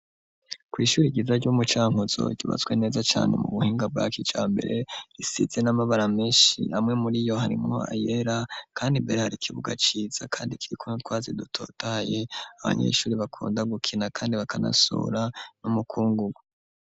Kw'ishuri ryiza ryo mu Cankuzo, ryubatswe neza cane, mu buhinga bwa kijambere, risize n'amabara menshi, amwe muri yo, harimwo ayera, kandi imbere, hari ikibuga ciza, kandi kiriko n'utwatsi, dutotahaye; abanyeshuri bakunda gukina, kandi bakanasura, n'umukungu.